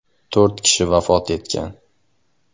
To‘rt kishi vafot etgan.